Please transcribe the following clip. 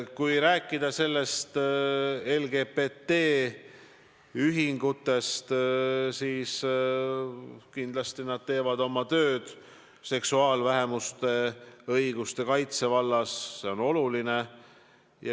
Kui rääkida LGBT-ühingutest, siis tuleb öelda, et kindlasti nad teevad oma tööd seksuaalvähemuste õiguste kaitse vallas ja see on oluline.